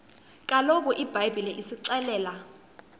kaloku ibhayibhile isixelela